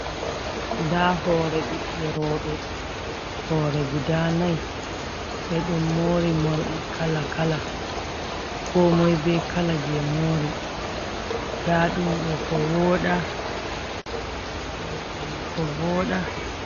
Nda hore ɓiɓɓe rooɓe, hore guda nai, ɓe ɗon mori morɗi kala kala, ko moi be kala je mori ,nda ɗum ɗo kowooɗa morɗi mai ko voɗa.